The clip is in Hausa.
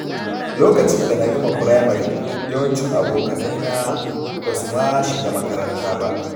Lokacin da na gama firamare, yawancin abokaina ba su ma shiga makaranta ba.